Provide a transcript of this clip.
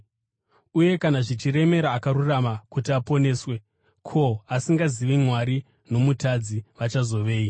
Uye, “Kana zvichiremera akarurama kuti aponeswe, ko, asingazivi Mwari nomutadzi vachazovei?”